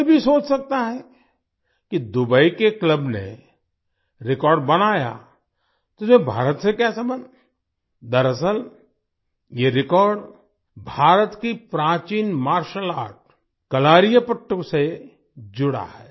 कोई भी सोच सकता है कि दुबई के क्लब ने रेकॉर्ड बनाया तो इसमें भारत से क्या संबंध दरअसल ये रेकॉर्ड भारत की प्राचीन मार्शल आर्ट कलारीपयट्टू से जुड़ा है